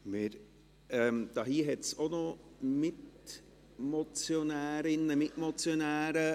Hier hat es auch noch Mitmotionärinnen und Mitmotionäre.